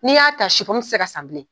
Ni ya ta te se ka san bilen.